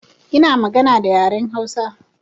Ina magana da yaren Hausa